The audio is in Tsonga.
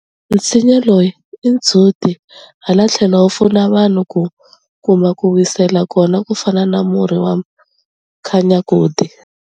Nsinya lowu i ndzhuti ha la tlhelo wu pfuna vanhu ku kuma ko wisela kona ku fana na murhi wa mkhanyakude.